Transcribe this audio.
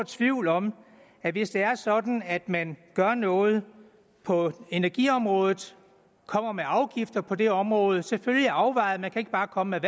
tvivl om at hvis det er sådan at man gør noget på energiområdet kommer med afgifter på det område selvfølgelig afvejet man kan ikke bare komme